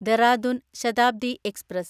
Dehradun Shatabdi express